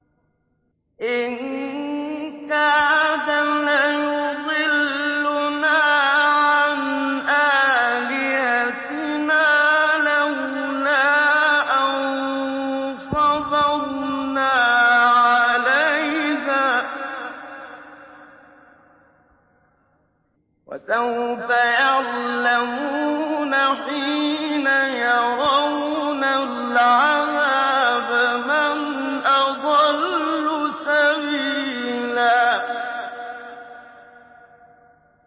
إِن كَادَ لَيُضِلُّنَا عَنْ آلِهَتِنَا لَوْلَا أَن صَبَرْنَا عَلَيْهَا ۚ وَسَوْفَ يَعْلَمُونَ حِينَ يَرَوْنَ الْعَذَابَ مَنْ أَضَلُّ سَبِيلًا